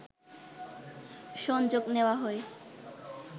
সংযোগ নেওয়া হয়